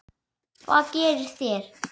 Hvað gerið þér?